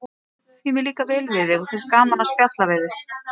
Því mér líkar vel við þig og finnst gaman að spjalla við þig.